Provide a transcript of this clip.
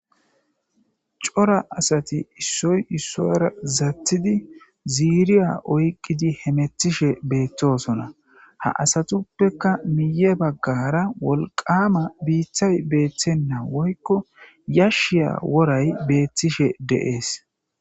Cora asati issoy isuwra zatid ziriya oykidi hamutishe betosona, ha asatupekka miye bagara wolqama bitay betena woyko yashiya woray betishe de'es